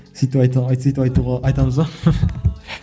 сөйтіп айтуға сөйтіп айтуға айтамыз ба